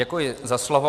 Děkuji za slovo.